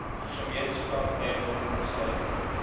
gemeenskaplike eiendom insluitende